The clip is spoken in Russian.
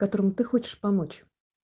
которому ты хочешь помочь